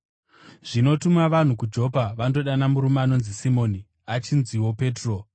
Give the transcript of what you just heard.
Zvino tuma vanhu kuJopa vandodana murume anonzi Simoni, achinziwo Petro.